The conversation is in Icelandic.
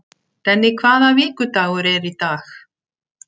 Denni, hvaða vikudagur er í dag?